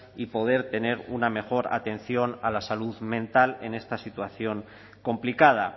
y poder tener una mejor atención a la salud mental en esta situación complicada